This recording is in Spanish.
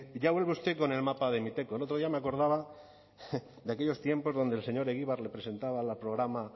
ya vuelve usted con el mapa de miteco el otro día me acordaba de aquellos tiempos donde el señor egibar le presentaba la programa